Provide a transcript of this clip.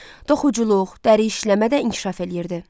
Toxuculuq, dəri işləmə də inkişaf eləyirdi.